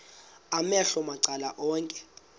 amehlo macala onke